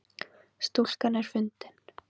Stúlkan er fundin